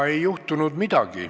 Ei juhtunud midagi.